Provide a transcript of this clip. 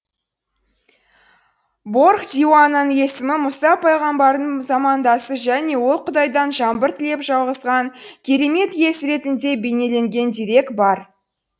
борх диуананың есімі мұса пайғамбардың замандасы және ол құдайдан жаңбыр тілеп жауғызған керемет иесі ретінде бейнеленген дерек бар